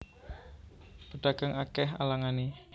Pedagang akeh alangane